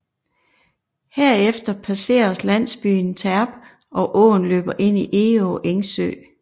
Herefter passeres landsbyen Terp og åen løber ind i Egå Engsø